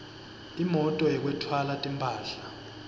imoti yekwetfwala timphahla